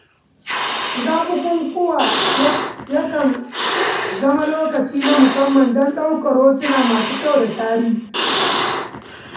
Shiga bukukuwa ya kan zama lokaci na musamman don ɗaukar hotuna masu kyau da tarihi.